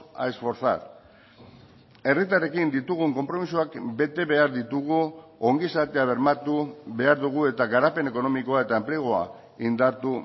a esforzar herritarrekin ditugun konpromisoak bete behar ditugu ongizatea bermatu behar dugu eta garapen ekonomikoa eta enplegua indartu